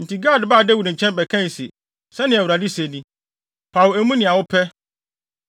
Enti Gad baa Dawid nkyɛn bɛkae se, “Sɛnea Awurade se ni: ‘Paw emu nea wopɛ: